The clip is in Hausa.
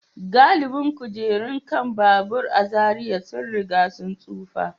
Galibin kujerun kan babura a Zariya sun riga sun tsufa.